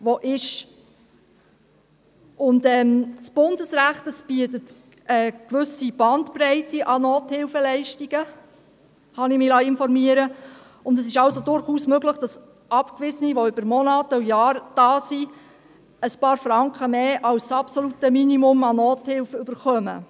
Das Bundesrecht bietet eine gewisse Bandbreite an Nothilfeleistungen, so habe ich mir sagen lassen, und es ist durchaus möglich, dass Abgewiesene, welche über Monate und Jahre hier sind, ein paar Franken mehr als das absolute Minimum der Nothilfe bekommen.